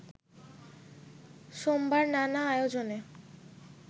সোমবার নানা আয়োজনে